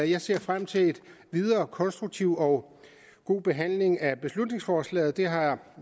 jeg ser frem til en videre konstruktiv og god behandling af beslutningsforslaget det har